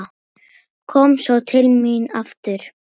Kom svo til mín aftur.